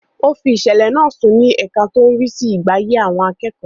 Ó fi ìsẹ̀lẹ̀ náà sùn ní ẹka tó ń rí sí ìgbáyé àwọn akẹ́kọ̀ọ́.